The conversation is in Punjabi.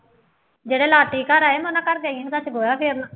ਜਿਹੜੇ ਲਾਟੀ ਘਰ ਆਏ ਮੈਂ ਉਹਨਾ ਘਰ ਗਈ ਸੀ, ਰਾਤੀ ਸੀ ਉਹਨਾ